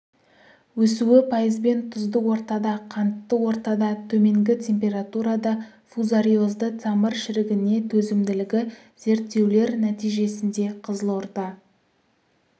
өсуі пайызбен тұзды ортада қантты ортада төменгі температурада фузариозды тамыр шірігіне төзімділігі зерттеулер нәтижесінде қызылорда